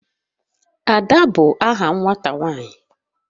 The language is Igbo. Ada bu aha nwata nwanyi